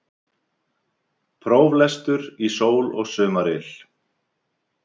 Próflestur í sól og sumaryl